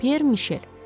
Pyer Mişel.